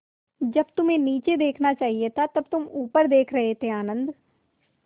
जब तुम्हें नीचे देखना चाहिए था तब तुम ऊपर देख रहे थे आनन्द